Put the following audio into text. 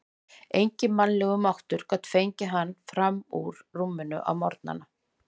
Enginn mannlegur máttur gat fengið hann fram úr rúminu á morgnana.